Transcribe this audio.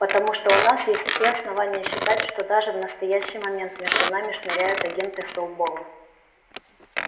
потому что у нас есть все основания считать что даже в настоящий момент между нами шныряют агенты сноуболла